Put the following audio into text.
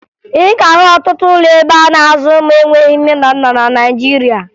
Ị ga-ahụ ọtụtụ ụlọ ebe a na-azụ ụmụ enweghi nne na nna na Naịjirịa